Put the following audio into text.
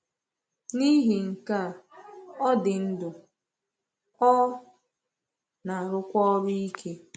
N’ihi nke a, ọ dị ndụ, ọ na-arụkwa ọrụ ike.